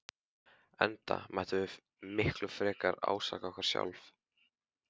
Enda mættum við miklu frekar ásaka okkur sjálf.